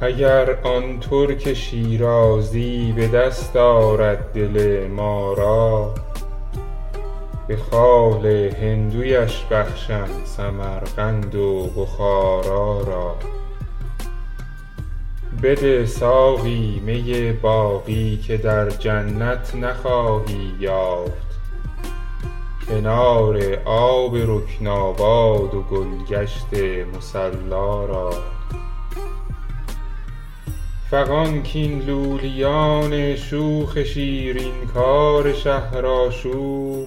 اگر آن ترک شیرازی به دست آرد دل ما را به خال هندویش بخشم سمرقند و بخارا را بده ساقی می باقی که در جنت نخواهی یافت کنار آب رکناباد و گل گشت مصلا را فغان کاین لولیان شوخ شیرین کار شهرآشوب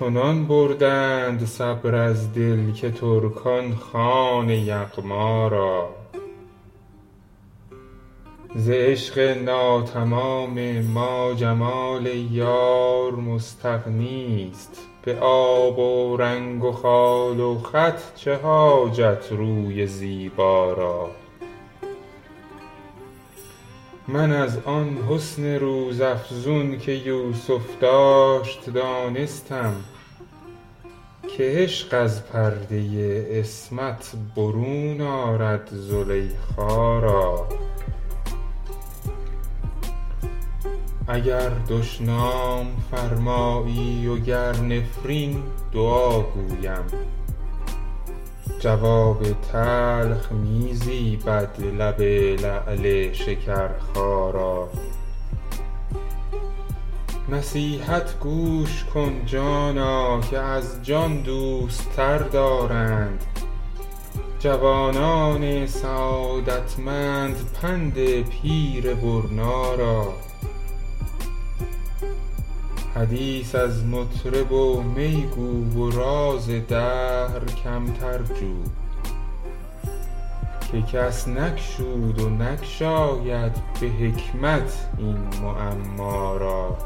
چنان بردند صبر از دل که ترکان خوان یغما را ز عشق ناتمام ما جمال یار مستغنی است به آب و رنگ و خال و خط چه حاجت روی زیبا را من از آن حسن روزافزون که یوسف داشت دانستم که عشق از پرده عصمت برون آرد زلیخا را اگر دشنام فرمایی و گر نفرین دعا گویم جواب تلخ می زیبد لب لعل شکرخا را نصیحت گوش کن جانا که از جان دوست تر دارند جوانان سعادتمند پند پیر دانا را حدیث از مطرب و می گو و راز دهر کمتر جو که کس نگشود و نگشاید به حکمت این معما را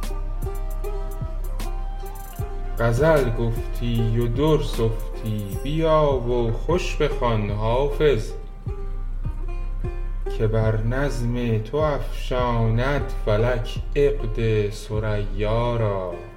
غزل گفتی و در سفتی بیا و خوش بخوان حافظ که بر نظم تو افشاند فلک عقد ثریا را